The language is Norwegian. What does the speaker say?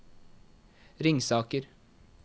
Ringsaker